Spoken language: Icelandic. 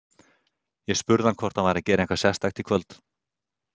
Ég spurði hann hvort hann væri að gera eitthvað sérstakt í kvöld.